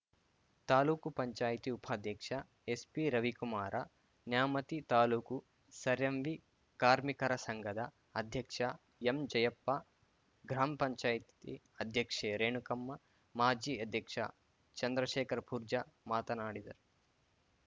ತಾಲೂಕು ಪಂಚಾಯತಿ ಉಪಾಧ್ಯಕ್ಷ ಎಸ್‌ಪಿರವಿಕುಮಾರ ನ್ಯಾಮತಿ ತಾಲೂಕು ಸರ್‌ಎಂವಿ ಕಾರ್ಮಿಕರ ಸಂಘದ ಅಧ್ಯಕ್ಷ ಎಂಜಯಪ್ಪ ಗ್ರಾಮ್ ಪಂಚಾಯ್ತಿ ಅಧ್ಯಕ್ಷೆ ರೇಣುಕಮ್ಮ ಮಾಜಿ ಅಧ್ಯಕ್ಷ ಚಂದ್ರಶೇಖರ್‌ ಪೂರ್ಜಾ ಮಾತನಾಡಿದರು